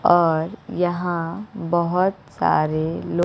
और यहां बहोत सारे लो--